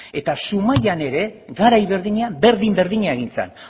eta zumaian ere garai berdinean berdin berdina egin zan